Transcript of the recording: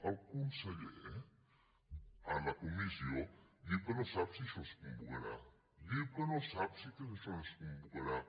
el conseller a la comissió diu que no sap si això es convocarà diu que no sap si això es convocarà